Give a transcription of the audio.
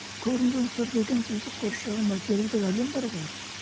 көрінген сыр деген бізді қоршаған материалдық әлем бар ғой